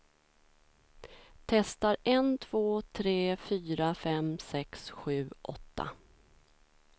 Testar en två tre fyra fem sex sju åtta.